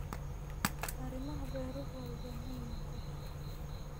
Arrimaha beeruhu waxay u baahan yihiin qorshe.